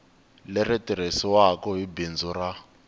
leri tirhisiwaku hi bindzu ra